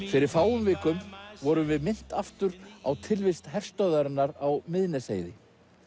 fyrir fáum vikum vorum við minnt aftur á tilvist herstöðvarinnar á Miðnesheiði